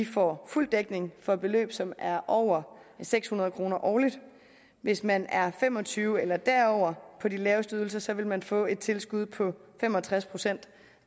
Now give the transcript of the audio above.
får fuld dækning for beløb som er over seks hundrede kroner årligt hvis man er fem og tyve år eller derover og på de laveste ydelser vil man få et tilskud på fem og tres procent